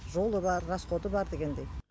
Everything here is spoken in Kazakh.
жолы бар расходы бар дегендей